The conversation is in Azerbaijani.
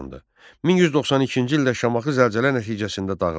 1192-ci ildə Şamaxı zəlzələ nəticəsində dağıldı.